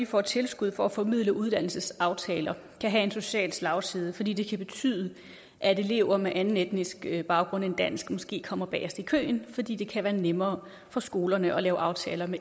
får tilskud for at formidle uddannelsesaftaler kan have en social slagside fordi det kan betyde at elever med anden etnisk baggrund end dansk måske kommer bagest i køen fordi det kan være nemmere for skolerne at lave aftaler